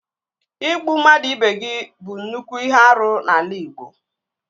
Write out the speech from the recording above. Ịgbu mmadụ ibe gị bụ nnukwu ihe árú n'ala igbo